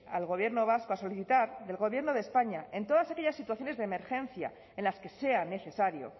al gobierno vasco a solicitar del gobierno de españa en todas aquellas situaciones de emergencia en las que sea necesario